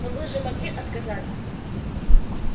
но вы же могли отказаться